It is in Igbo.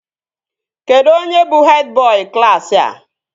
Kedụ onye bụ hed bọị klaasị a?